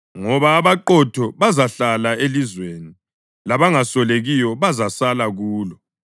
Ngoba abaqotho bazahlala elizweni, labangasolekiyo bazasala kulo;